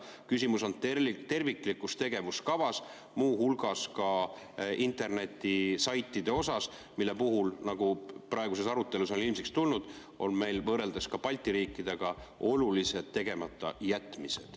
Küsimus on terviklikus tegevuskavas, muu hulgas ka internetisaitide osas, mille puhul, nagu praeguses arutelus ilmsiks on tulnud, on meil võrreldes ka Balti riikidega olulised tegematajätmised.